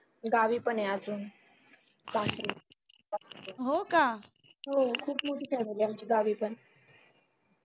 गावी पण आहे अजून सासरी हो खूप मोठी family आहे आमची गावीपण